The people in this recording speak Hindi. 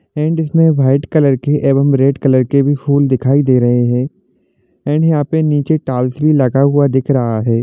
एंड इसमे रेड कलर की अवम रेड कलर की फुल दिखाई दे रहा है यहा पर निचे टाइलस दिख रहा है।